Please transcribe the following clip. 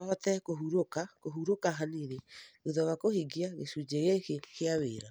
No hote kũhurũka kũhurũka hanini thutha wa kũhingia gĩcunjĩ gĩkĩ kĩa wĩra